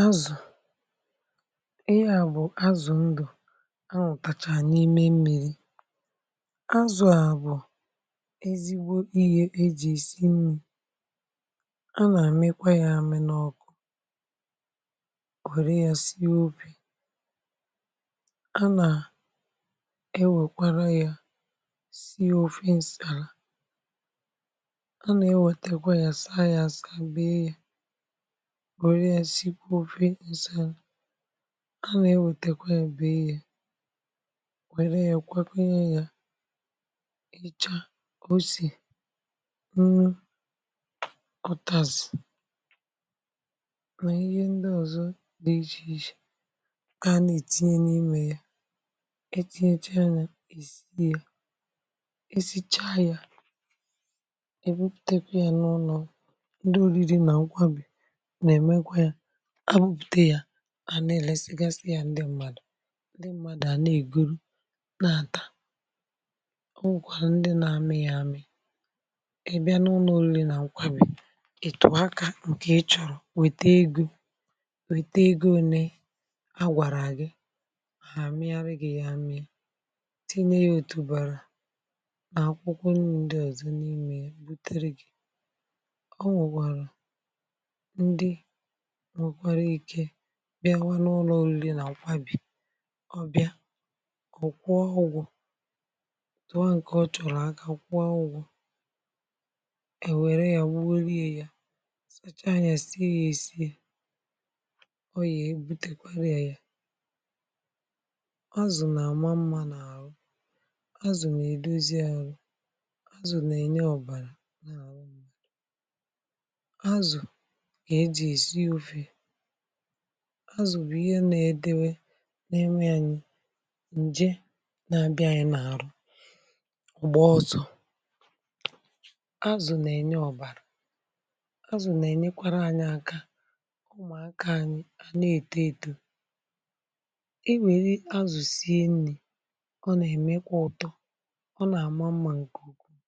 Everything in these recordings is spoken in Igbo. azụ̀. ihe à bụ̀ azụ̀ ndụ̀, a nụ̀tàchà n’ime mmi̇ri. azụ̀ à bụ̀ ezigbo ihė ejì isi mmì, a nà-àmekwa yȧ àmị n’ọkụ, kwere yȧ si ofi, a nà-ewèkwara yȧ si ofi. ǹsàrà, a nà-ewètekwa yȧ saa, yȧ àsị, àbịa yȧ wère ya, sikwa ofe, nsạm. a na-ewetekwa ya, bee ya, wère ya kwakwa ya, ya icha, osì, nru, utazì, ma ihe ndị ọzọ dị iche iche a na-etinye n’imė ya, etinyecha ya, èsi ya, e sichaa ya, e weputekwa ya n’ụnọ, ndị oriri nà akwagwà. a nà-èlèsi gàsị̇ yȧ, um ndị mmadụ̀, ndị mmadụ̀ àna-èguru nà-àta. o nwèkwà ndị nȧ-amị̇ yȧ àmị̀, ị̀ bịa n’ụlọ̇, o nwèrè nà nkwàbì ị̀tụ̀ọ aka, ǹkè ị chọ̀rọ̀, wète egȯ, wète egȯ. ole a gwàrà gị, hà amịrị, àmị gị yȧ àmị, tinye ya òtùbàrà nà akwụkwọnụ, ndị ọ̀zọ n’ime ye butere gị̇, bịa n’ụlọ̀ ule nà òkwabì. ọ bịa, ọ̀ kwụọ ọgwụ̀, tụọ ǹkè ọ chọ̀rọ̀ aka, kwụọ ọgwụ̀, è wère yȧ, wuola ye, yȧ sachaa, yȧ sie, yȧ è si, ọ yà ebu̇tekwere yȧ, yà azụ̀. nà-àma mmȧ n’àhụ, azụ̀ nà-èdozi arụ̇, azụ̀ nà-ènye ọ̀bàrà. azụ̀ bụ̀ ihe nà-èdewe nà-enwe ànyị ǹje nà-abịȧnyị̀ n’àrụ ụ̀gbọ, ọsọ̇. azụ̀ nà-ènye ọ̀bàrà, azụ̀ nà-ènyekwara anyị̇ aka, ụmụ̀ aka anyị̇. ànyị na-èto eto, i nwèrè azụ̀sie nrị̇, ọ nà-èmekwa ụ̀tọ, ọ nà-àma mmȧ ǹkèukwuu.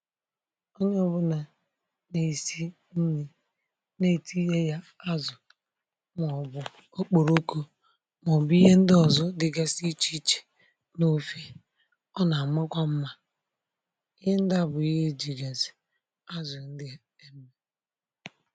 onye ọbụlà nà-èsi nrị̇ okporookȯ, màọ̀bụ̀ ihe ndị ọzọ dịgasị ichè ichè n’ofe, ọ nà-àmụkwa mmȧ. ihe ndị a bụ̀ ihe ejiriàz zè azụ̀ ndị emmù